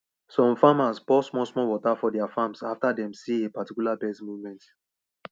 some farmers pour small small water for their farms after dem see a particular birds movement